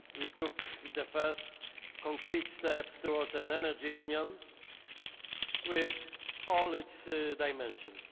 We took the first concrete steps towards an Energy Union with all its dimensions.